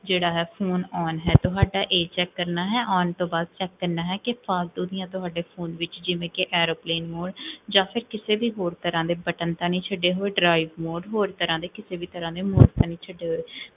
ਜੇਹੜਾ ਹੈ phone on ਹੈ, ਤੁਹਾਡਾ ਇਹ ਚੇਕ ਕਰਨਾ ਹੈ, on ਤੋ ਬਾਦ check ਕਰਨਾ ਹੈ ਕੀ ਫਾਲਤੂ ਦੀਆਂ, ਤੁਹਾਡੇ phone ਦੀਆਂ, ਜਿਵੇਂ ਕੀ aeroplane mode, ਜਾ ਫੇਰ ਕਿਸੇ ਵੀ ਹੋਰ ਤਰਹ ਦੇ button ਤਾਂ ਨੀ ਛੱਡੇ ਹੋਏ ਹੋਰ ਤਰਹ ਦੇ ਕਿਸੇ ਵੀ ਤਰਹ ਦੇ, ਨੀ ਛੱਡੇ ਹੋਏ